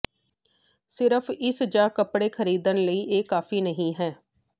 ਸਿਰਫ ਇਸ ਜਾਂ ਕੱਪੜੇ ਖਰੀਦਣ ਲਈ ਇਹ ਕਾਫ਼ੀ ਨਹੀਂ ਹੈ